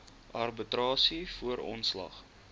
arbitrasie voor ontslag